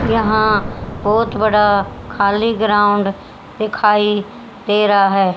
यहां बहुत बड़ा खाली ग्राउंड दिखाई दे रहा है।